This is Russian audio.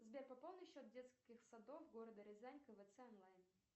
сбер пополни счет детских садов города рязань квц онлайн